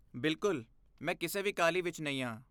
ਬਿਲਕੁਲ, ਮੈਂ ਕਿਸੇ ਵੀ ਕਾਹਲੀ ਵਿੱਚ ਨਹੀਂ ਹਾਂ।